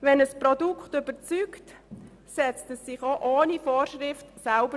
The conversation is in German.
Wenn ein Produkt überzeugt, setzt es sich auch ohne Vorschriften durch.